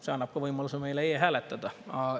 See annab meile ka võimaluse e-hääletada.